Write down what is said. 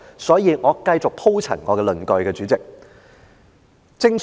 所以，我繼續鋪陳我的論據，主席。